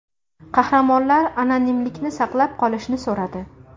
Qahramonlar anonimlikni saqlab qolishni so‘radi.